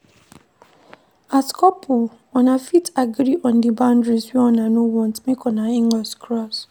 As couple una fit agree on di boundaries wey una no want make una inlaws cross